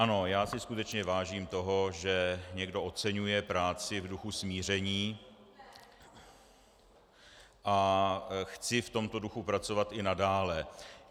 Ano, já si skutečně vážím toho, že někdo oceňuje práci v duchu smíření, a chci v tomto duchu pracovat i nadále.